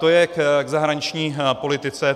To je k zahraniční politice.